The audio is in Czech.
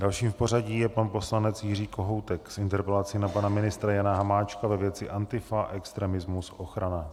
Dalším v pořadí je pan poslanec Jiří Kohoutek s interpelací na pana ministra Jana Hamáčka ve věci Antifa, extremismus, ochrana.